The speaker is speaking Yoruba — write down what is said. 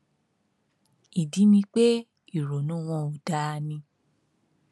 ìdí ni pé ìrònú wọn ò dáa ni